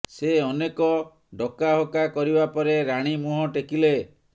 ସେ ଅନେକ ଡକାହକା କରିବା ପରେ ରାଣୀ ମୁହଁ ଟେକିଲେ